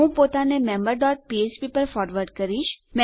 હું પોતાને member dot ફ્ફ્પ પર ફોરવર્ડ કરીશ